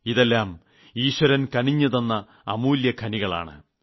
ഇതെല്ലാം ഈശ്വരൻ കനിഞ്ഞുതന്ന അമൂല്യഖനികളാണ്